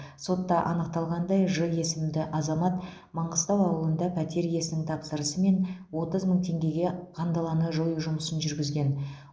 сотта анықталғандай ж есімді азамат маңғыстау ауылында пәтер иесінің тапсырысымен отыз мың теңгеге қандаланы жою жұмысын жүргізген